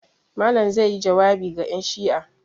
Malam zai yi jawabi ga 'yanshi'a.